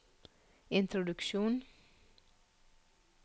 introduksjon